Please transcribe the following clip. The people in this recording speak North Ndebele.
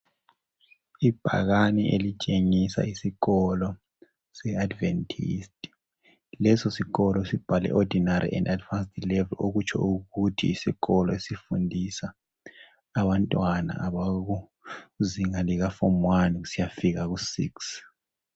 Ibhakane elitshengisa isikolo seAdventist leso sikolo sibhaliwe ukuthi ordinary and advanced level okutsho ukuthi yisikolo esifundisa abantwana abakuzinga lika form one kusiyafika ku six.